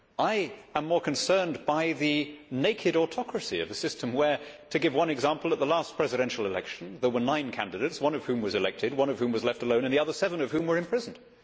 I am more concerned by the naked autocracy of a system where, to give one example, at the last presidential election there were nine candidates, one of whom was elected, one of whom was left alone and the other seven of whom were imprisoned.